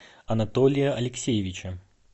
анатолия алексеевича